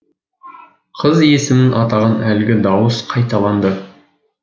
қыз есімін атаған әлгі дауыс қайталанды